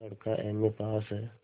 लड़का एमए पास हैं